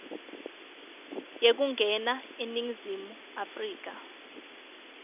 yekungena eningizimu afrika